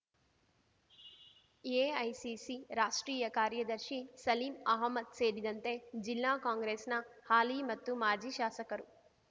AICC ರಾಷ್ಟ್ರೀಯ ಕಾರ್ಯದರ್ಶಿ ಸಲೀಂ ಅಹ್ಮದ್ ಸೇರಿದಂತೆ ಜಿಲ್ಲಾ ಕಾಂಗ್ರೆಸ್‍ನ ಹಾಲಿ ಮತ್ತು ಮಾಜಿ ಶಾಸಕರು